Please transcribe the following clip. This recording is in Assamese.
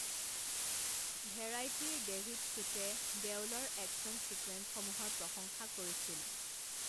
ভেৰাইটীৰ ডেভিড চুটে দেউলৰ এক্সন ছিকুৱেন্সসমূহৰ প্ৰশংসা কৰিছিল।